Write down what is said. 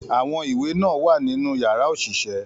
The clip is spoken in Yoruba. Àwọn ìwé náà wà nínú yàrá òṣìṣẹ́